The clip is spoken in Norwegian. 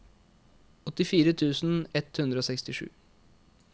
åttifire tusen ett hundre og sekstisju